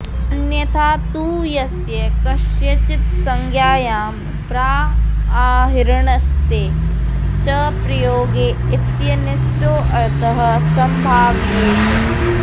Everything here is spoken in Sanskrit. अन्यथा तु यस्य कस्यचित्संज्ञायां ब्राआहृणस्थे च प्रयोगे इत्यनिष्टोऽर्थः सम्भाव्येत